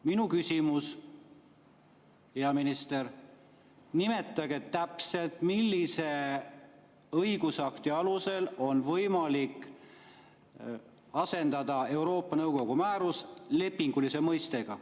Minu küsimus, hea minister: nimetage täpselt, millise õigusakti alusel on võimalik asendada Euroopa Nõukogu määrus lepinguga.